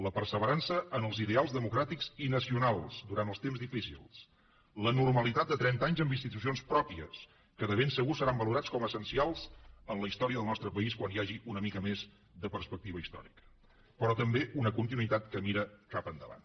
la perseverança en els ideals democràtics i nacionals durant els temps difícils la normalitat de trenta anys amb institucions pròpies que de ben segur seran valorats com a essencials en la història del nostre país quan hi hagi una mica més de perspectiva històrica però també una continuïtat que mira cap endavant